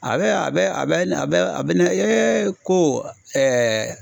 A bɛ a bɛ a bɛ na bɛ a bɛ na ko